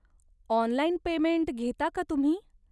Online payment घेता का तुम्ही?